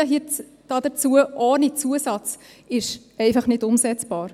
Ein Verpflichten hierzu, ohne Zusatz, ist einfach nicht umsetzbar.